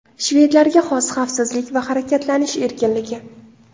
Shvedlarga xos xavfsizlik va harakatlanish erkinligi.